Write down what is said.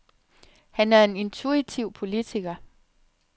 Han er en intuitiv politiker.